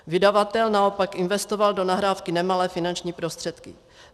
Vydavatel naopak investoval do nahrávky nemalé finanční prostředky.